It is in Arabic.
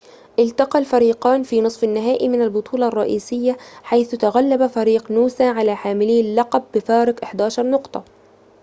التقى الفريقان في نصف النهائي من البطولة الرئيسية حيث تغلّب فريق نوسا على حاملي اللقب بفارق 11 نقطة